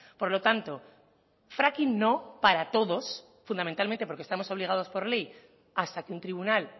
por lo tanto fracking no para todos fundamentalmente porque estamos obligados por ley hasta que un tribunal